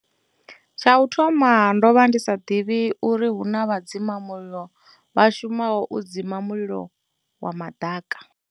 Tsha u thoma, ndo vha ndi sa ḓivhi uri hu na vha dzima mulilo vha shumaho u dzima mulilo wa maḓaka.